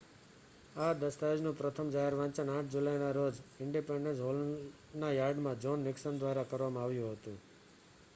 આ દસ્તાવેજનું પ્રથમ જાહેર વાંચન 8 જુલાઇના રોજ ઈંડિપેંડન્સ હૉલના યાર્ડમાં જોન નિકસન દ્વારા કરવામાં આવ્યું હતું